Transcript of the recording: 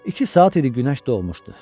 İki saat idi günəş doğmuşdu.